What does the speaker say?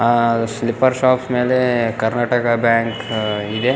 ಆ slipper shops ಮೇಲೆ Karnataka bank ಇದೆ .